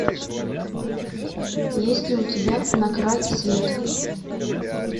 есть ли у тебя на край света